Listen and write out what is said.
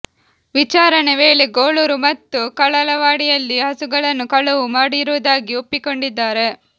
ವಿಚಾರಣೆ ವೇಳೆ ಗೋಳೂರು ಮತ್ತು ಕಳಲವಾಡಿಯಲ್ಲಿ ಹಸುಗಳನ್ನು ಕಳುವು ಮಾಡಿರುವುದಾಗಿ ಒಪ್ಪಿಕೊಂಡಿದ್ದಾರೆ